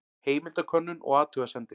Heimildakönnun og athugasemdir.